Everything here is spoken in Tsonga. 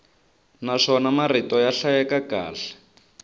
naswona marito ya hlayeka kahle